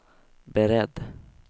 beredd